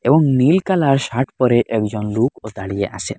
এবং নীল colour shirt পড়ে একজন লুকও দাঁড়িয়ে আসেন।